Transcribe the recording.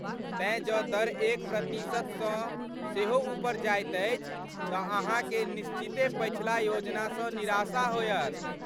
तेँ जँ दर एक प्रतिशत सँ सेहो उपर जाइत अछि तँ अहाँकेँ निश्चिते पछिला योजनासँ निराशा होयत।